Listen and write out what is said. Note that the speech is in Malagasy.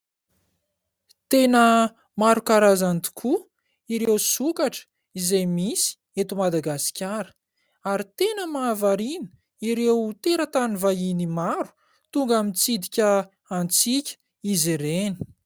Tena maro karazany tokoa ireo sokatra izay misy eto Madagasikara ary tena mahavariana ireo teratany vahiny maro tonga mitsidika antsika izy ireny.